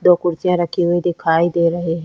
दो कुर्सियाँ रखी हुई दिखाई दे रहे--